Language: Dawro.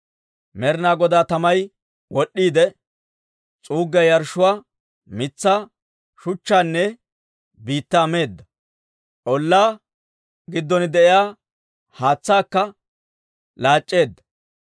Med'inaa Godaa tamay wod'd'iide, s'uuggiyaa yarshshuwaa, mitsaa, shuchchaanne biittaa meedda; ollaa giddon de'iyaa haatsaakka laac'c'eedda.